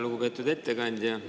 Lugupeetud ettekandja!